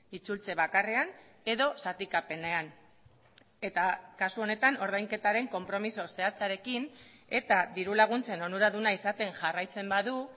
itzultze bakarrean edo zatikapenean eta kasu honetan ordainketaren konpromiso zehatzarekin eta diru laguntzen onuraduna izaten jarraitzen badu